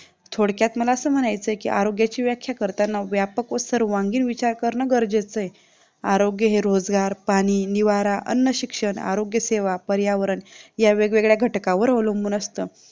थोडक्यात मला असं म्हणायचं आहे की आरोग्याची व्याख्या करताना व्यापक व सर्वांगीण विचार करणं गरजेचं आहे आरोग्य हे रोजगार पाणी निवारा अन्नशिक्षण आरोग्य सेवा पर्यावरण या वेगवेगळ्या घटकांवर अवलंबून असतं